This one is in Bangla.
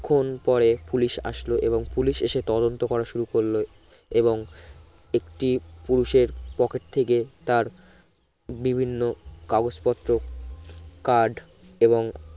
ক্ষন পরে পুলিশ আসলো এবং পুলিশ এসে তদন্ত করা শুরু করলো এবং একটি পুলিশ এর pocket থেকে তার বিভিন্ন কাগজ পত্র card এবং